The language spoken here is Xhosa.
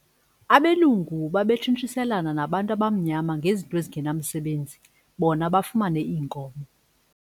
Abelungu babetshintshiselana nabantu abamnyama ngezinto ezingenamsebenzi bona bafumane iinkomo.